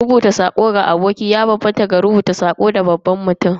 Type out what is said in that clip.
Rubuta sako ga aboki ya bambanta da rubuta sako ga babban mutum mai muƙami.